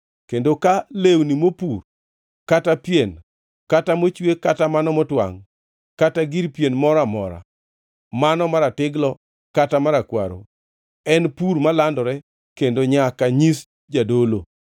kendo ka lewni mopur, kata pien, kata mochwe kata mano motwangʼ, kata gir pien moro amora, mano maratiglo kata marakwaro, en pur malandore kendo nyaka nyis jadolo.